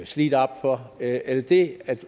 slidt op for at kunne er det det